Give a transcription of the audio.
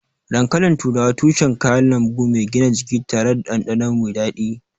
Dankalin turawa tushen kayan lambu mai gina jiki tare da dandano mai dadi.